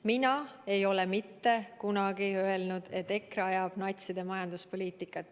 Mina ei ole mitte kunagi öelnud, et EKRE ajab natside majanduspoliitikat.